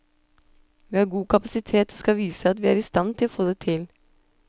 Vi har god kapasitet og skal vise at vi er i stand til å få det til.